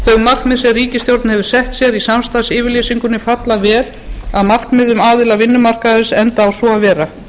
markmið sem ríkisstjórnin hefur sett sér í samstarfsyfirlýsingunni falla verr að markmiðum aðila vinnumarkaðarins enda á svo að vera